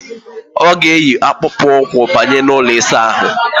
Ọ ga-eyi akpụkpụụkwụ banye n' ụlọ ịsaahụ.